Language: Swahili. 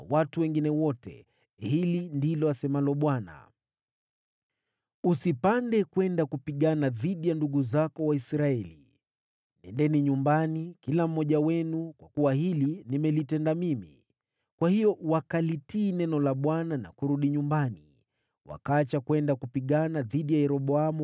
‘Hili ndilo asemalo Bwana : Msipande kupigana dhidi ya ndugu zenu. Nendeni nyumbani, kila mmoja wenu, kwa kuwa hili nimelitenda mimi.’ ” Kwa hiyo wakalitii neno la Bwana na wakaacha kwenda kupigana dhidi ya Yeroboamu.